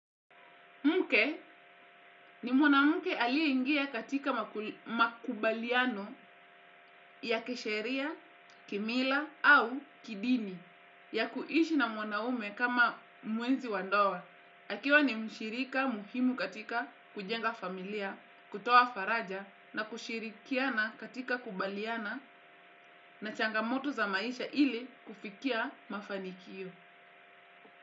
Mke ni mwanamke aliye ingia katika makubaliano ya kisheria, kimila au kidini ya kuishi na mwanaume kama mwenzi wa ndoa. Akiwa ni mshirika muhimu katika kujenga familia kutoa faraja na kushirikiana katika kukabiliana na changamoto za maisha ili kufikia mafanikio.